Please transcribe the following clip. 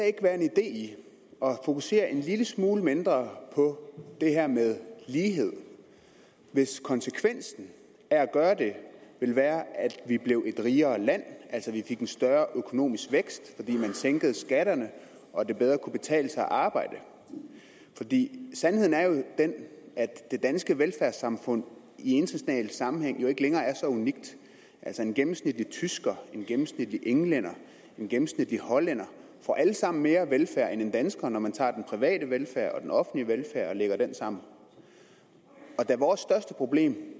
ikke være en idé i at fokusere en lille smule mindre på det her med lighed hvis konsekvensen af at gøre det ville være at vi blev et rigere land altså at vi fik en større økonomisk vækst når vi sænkede skatterne og det bedre kunne betale sig at arbejde for sandheden er jo den at det danske velfærdssamfund i international sammenhæng ikke længere er så unikt altså en gennemsnitlig tysker en gennemsnitlig englænder og en gennemsnitlig hollænder får alle sammen mere velfærd end en dansker når man tager den private velfærd og den offentlige velfærd og lægger dem sammen da vores største problem